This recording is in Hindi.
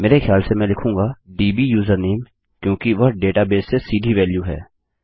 मेरे ख्याल से मैं लिखूँगा डब्यूजरनेम क्योंकि वह डेटाबेस से सीधी वेल्यू है